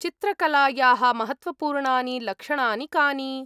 चित्रकलायाः महत्त्वपूर्णानि लक्षणानि कानि?